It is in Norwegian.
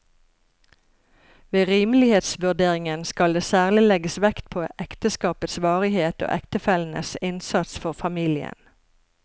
Ved rimelighetsvurderingen skal det særlig legges vekt på ekteskapets varighet og ektefellenes innsats for familien.